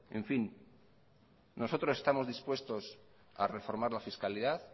nosotros estamos dispuestos a reformar la fiscalidad